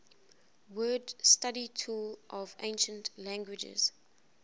word study tool of ancient languages